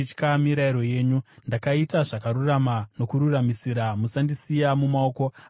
Ndakaita zvakarurama nokururamisira; musandisiya mumaoko avadzvinyiriri vangu.